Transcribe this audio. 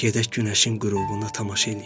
Gedək günəşin qürubuna tamaşa eləyək.